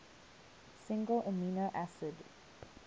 single amino acid